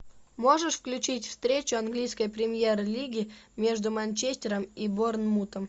можешь включить встречу английской премьер лиги между манчестером и борнмутом